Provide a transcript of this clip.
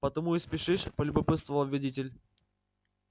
потому и спешишь полюбопытствовал водитель